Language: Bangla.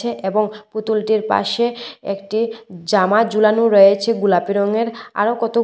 এবং পুতুলটির পাশে একটি জামা জুলানো রয়েছে গোলাপি রঙের আরো কত--